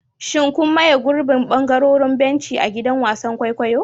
Shin kun maye gurbin ɓangarorin benci a gidan wasan kwaikwayo?